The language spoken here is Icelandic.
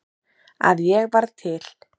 að ég var til.